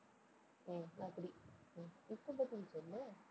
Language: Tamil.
ஹம் அப்படி, ஹம் இப்ப பதில் சொல்லு